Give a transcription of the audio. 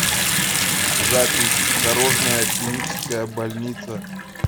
запись дорожная клиническая больница